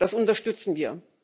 Das unterstützen wir.